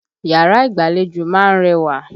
Yàrá ìgbàlejò ma ń rẹwà.